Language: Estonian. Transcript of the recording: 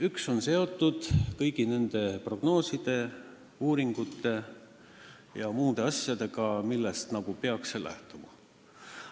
Üks on seotud kõigi nende prognooside, uuringute ja muude asjadega, millest see nagu peaks lähtuma.